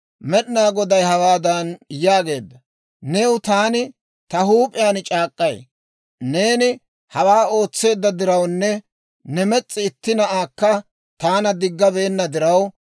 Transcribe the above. «Med'ina Goday, ‹Hawaadan yaagaade new taani ta huup'iyaan c'aak'k'ay; neeni hawaa ootseedda dirawunne ne mes's'i itti na'aakka taana diggabeenna diraw,